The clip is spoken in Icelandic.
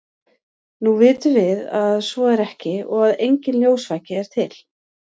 nú vitum við að svo er ekki og að enginn ljósvaki er til